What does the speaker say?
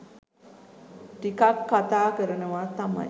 ටිකක් කතා කරනවා තමයි